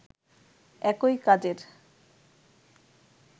একই কাজের